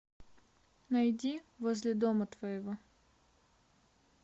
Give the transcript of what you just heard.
найди возле дома твоего